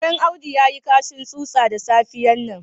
Karen Audu ya yi kashin tsutsa da safiyar nan.